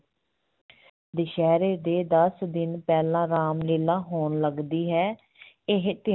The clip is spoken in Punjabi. ਦੁਸਹਿਰੇ ਦੇ ਦਸ ਦਿਨ ਪਹਿਲਾਂ ਰਾਮ ਲੀਲਾ ਹੋਣ ਲੱਗਦੀ ਹੈ ਇਹ ਤਿ~